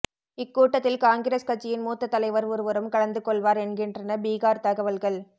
இக்கூட்டத்தில் காங்கிரஸ் கட்சியின் மூத்த தலைவர் ஒருவரும் கலந்துகொள்வார் என்கின்றன பீகார் தகவல்கள்